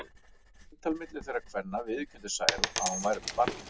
Eftir eintal milli þeirra kvenna viðurkenndi Særún að hún væri með barni.